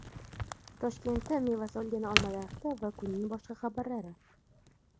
Toshkentda meva solgan olma daraxti va kunning boshqa xabarlari.